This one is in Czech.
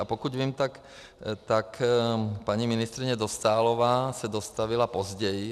A pokud vím, tak paní ministryně Dostálová se dostavila později.